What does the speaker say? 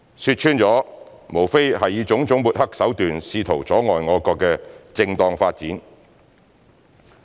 說穿了，無非是以種種抹黑手段試圖阻礙我國的正當發展。